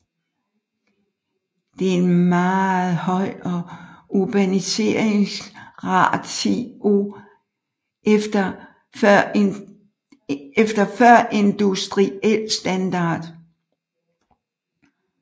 Det er en meget høj urbaniseringsratio efter førindustriel standard